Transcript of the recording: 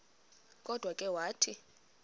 kodwa ke wathi